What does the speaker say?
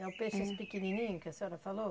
É o peixe assim pequenininho que a senhora falou?